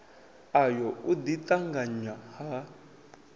ayo u ḓi ṱanganya ha